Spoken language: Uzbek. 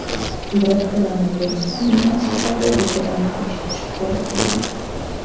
Biroq koronavirus pandemiyasi tufayli rejalarni kechiktirishga to‘g‘ri kelgan.